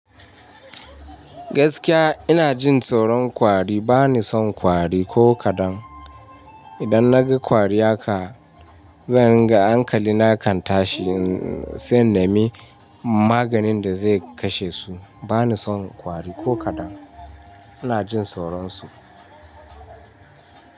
Gaskiya ina jin tsoron kwari. Ba ni son kwari ko kaɗan. Idan na ga kwari haka, zan ringa ankali kan tashi, sai in nemi maganin da zai kashe su. Ba ni son kwari ko kaɗan. Ina jin tsoron su.